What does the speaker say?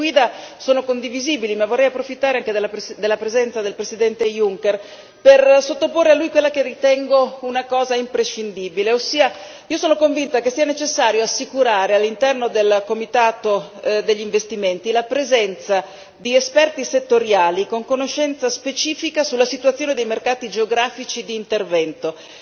Le linee guida sono condivisibili ma vorrei approfittare anche della presenza del Presidente Juncker per sottoporre a lui quella che ritengo una cosa imprescindibile, ossia io sono convinta che sia necessario assicurare all'interno del comitato per gli investimenti la presenza di esperti settoriali con conoscenza specifica della situazione dei mercati geografici di intervento.